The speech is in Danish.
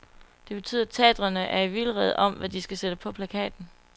Det betyder, at teatrene er i vildrede om, hvad de skal sætte på plakaten.